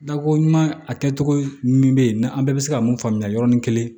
Dako ɲuman a kɛcogo min bɛ yen ni an bɛɛ bɛ se ka mun faamuya yɔrɔnin kelen